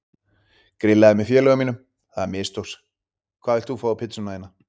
Grillaði með félögum mínum, það mistókst Hvað vilt þú fá á pizzuna þína?